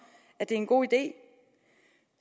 at det er en god idé